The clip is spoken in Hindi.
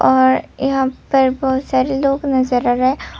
और यहाँ पर बहुत सारे लोग नजर आ रहे ह।